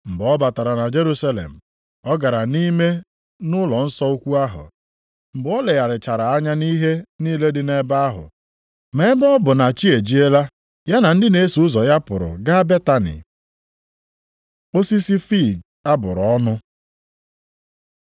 Mgbe ọ batara na Jerusalem, ọ gara nʼime nʼụlọnsọ ukwu ahụ. Mgbe o legharịchara anya nʼihe niile dị nʼebe ahụ, ma ebe ọ bụ na chi ejiela, ya na ndị na-eso ụzọ ya pụrụ gaa Betani. Osisi fiig a bụrụ ọnụ